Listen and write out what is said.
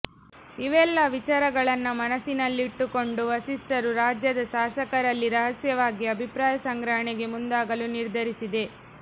ಇವೆಲ್ಲ ವಿಚಾರಗಳನ್ನ ಮನಸಲ್ಲಿಟ್ಟುಕೊಂಡು ವರಿಷ್ಠರು ರಾಜ್ಯದ ಶಾಸಕರಲ್ಲಿ ರಹಸ್ಯವಾಗಿ ಅಭಿಪ್ರಾಯ ಸಂಗ್ರಹಣೆಗೆ ಮುಂದಾಗಲು ನಿರ್ಧರಿಸಿದೆ